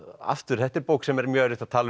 aftur þetta er bók sem er mjög erfitt að tala um